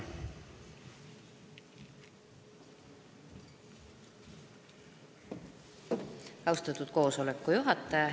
Austatud koosoleku juhataja!